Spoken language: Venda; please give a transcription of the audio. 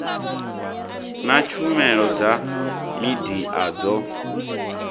na tshumelo dza midia dzo